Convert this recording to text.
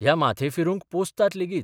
ह्या माथेफिरूंक पोसतात लेगीत.